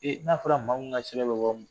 E n'a fɔra maa min ka sɛbɛn bɛ bɔ